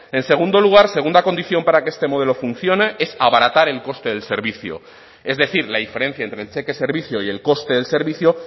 en segundo lugar segunda condición para que este modelo funcione es abaratar el coste del servicio es decir la diferencia entre el cheque servicio y el coste del servicio